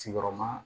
Sigiyɔrɔma